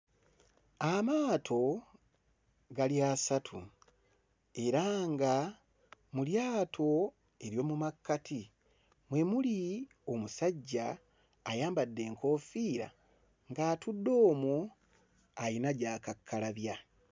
Amaato gali asatu era nga mu lyato ery'omu makkati mwe muli omusajja ayambadde enkoofiira ng'atudde omwo ayina by'akakkalabya.